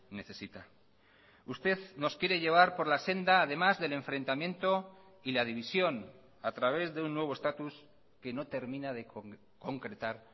necesita usted nos quiere llevar por la senda además del enfrentamiento y la división a través de un nuevo estatus que no termina de concretar